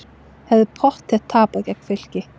Hefðum pottþétt tapað gegn Fylki